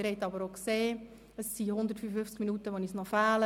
Sie haben aber auch gesehen, dass uns 155 Minuten fehlen.